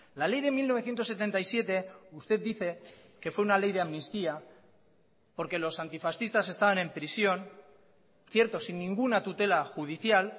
la ley de mil novecientos setenta y siete usted dice que fue una ley de amnistía porque los antifascistas estaban en prisión cierto sin ninguna tutela judicial